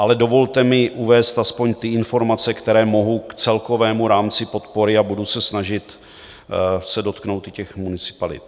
Ale dovolte mi uvést aspoň ty informace, které mohu k celkovému rámci podpory, a budu se snažit se dotknout i těch municipalit.